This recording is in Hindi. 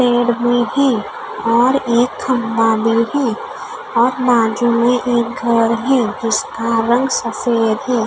पेड़ भी है और एक खम्बा भी है और बाजु में एक घर है जिसका रंग सफ़ेद है।